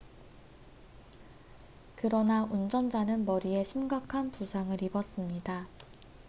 그러나 운전자는 머리에 심각한 부상을 입었습니다